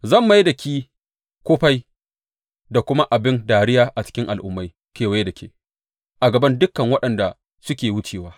Zan mai da ki kufai da kuma abin dariya a cikin al’ummai kewaye da ke, a gaban dukan waɗanda suke wucewa.